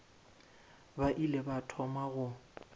ba ile ba thoma go